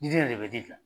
Diden yɛrɛ de bɛ ji dilan